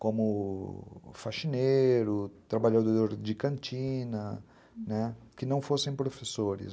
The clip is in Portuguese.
como faxineiro, trabalhador de cantina, né, que não fossem professores.